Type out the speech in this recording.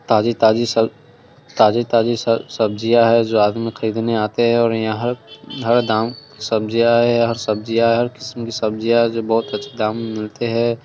ताज़ी-ताज़ी सब ताज़ी-ताज़ी सब-सब्जिया है जो आदमी खरीदने आते है और यहाँ हर हर दाम सब्जिया है हर सब्जिया है हर किस्म की सब्जिया है जो बहुत अच्छे दाम में मिलते है।